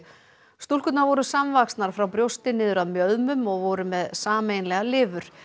stúlkurnar voru frá brjósti niður að mjöðmum og voru með sameiginlega lifur